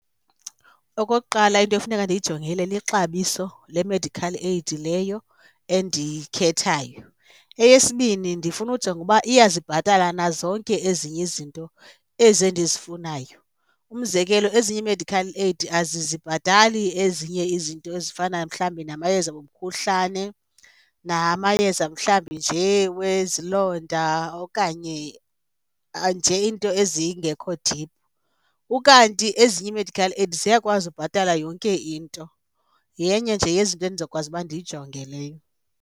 Okokuqala, into efuneka ndiyijongile lixabiso le-medical aid leyo endiyikhethayo. Eyesibini, ndifuna ujonga uba iyazibhatala na zonke ezinye izinto ezi ndizifunayo. Umzekelo ezinye ii-medical aid azizibhatali ezinye izinto ezifana mhlawumbi namayeza womkhuhlane namayeza mhlawumbi nje wezilonda okanye nje iinto ezingekho deep, ukanti ezinye ii-medical aid ziyakwazi ubhatala yonke into. Yenye nje yezinto endizokwazi uba ndiyijonge leyo.